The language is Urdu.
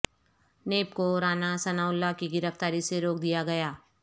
نیب کو رانا ثناء اللہ کی گرفتاری سے روک دیا گیا